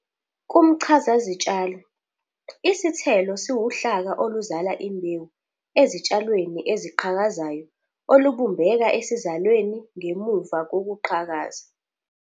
Kumchazazitshalo, isithelo siwuhlaka oluzala imbewu ezitshalweni eziqhakazayo olubumbeka esizalweni ngemuva kokuqhakaza.